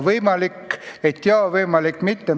Võimalik, et jah, võimalik, et mitte.